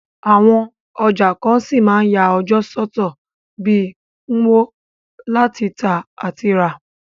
Àwon ọjà kan ṣí ma n ya ọjọ́ sọ́tọ̀ bi Nkwo, láti tà àti rà